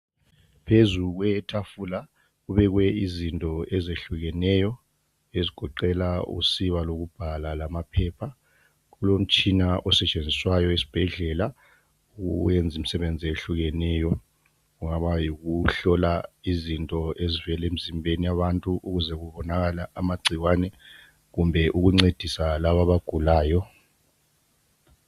Phezu kwetafula kubekwe izinto ezehlukeneyo ezigoqela usiba lokubhala lamaphepha. Kulomitshina osentshenziswayo esibhedlela owenza imisebenzi eyehlukeneyo kungaba yikuhlola izinto ezivela emzimbeni yabantu ukuze kubonakale amagcikwane kumbe ukuncedisa laba abagulayo.